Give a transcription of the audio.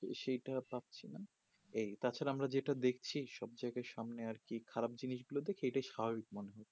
সেইটা পাচ্ছে না এই তা ছাড়া আমরা যেটা দেখছি সব জায়গায় খারাপ জিনিস গুলো এটা খুব স্বাভাবিক মনে হয়